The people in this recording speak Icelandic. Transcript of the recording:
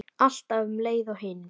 Alltaf um leið og hinir.